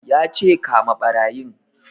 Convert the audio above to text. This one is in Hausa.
Ya ce 'Kama ɓarayin'!